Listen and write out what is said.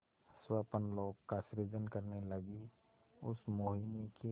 स्वप्नलोक का सृजन करने लगीउस मोहिनी के